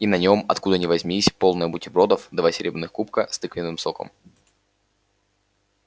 и на нем откуда ни возьмись появилась тарелка полная бутербродов и два серебряных кубка с тыквенным соком